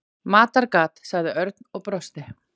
Matargat sagði Örn og brosti.